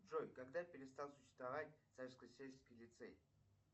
джой когда перестал существовать царско сельский лицей